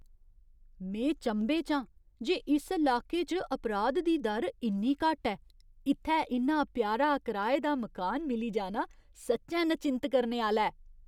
में चंभे च आं जे इस लाके च अपराध दी दर इन्नी घट्ट ऐ! इत्थै इन्ना प्यारा कराए दा मकान मिली जाना सच्चैं नचिंत करने आह्‌ला ऐ।